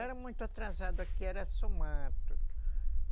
Era muito atrasado aqui, era só mato.